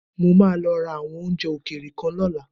Mo máa lọ ra àwọn oúnjẹ òkèèrè kan lọ́la.